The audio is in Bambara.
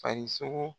Farisogo